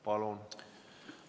Palun!